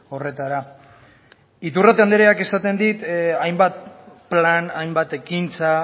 horretara iturrate andreak esaten dit hainbat plan hainbat ekintza